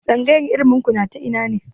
Tsangayar ilimin ku na ta ina ne?